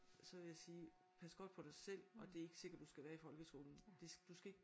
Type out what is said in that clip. Så ville jeg sige pas godt på dig selv og det er ikke sikkert du skal være i folkeskolen det du skal ikke